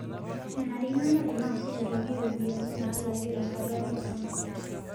Menarikino neponaa sukuulini iropiani naalaki tenkaraki enkisuma